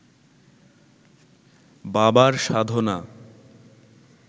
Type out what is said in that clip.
বাবার সাধনা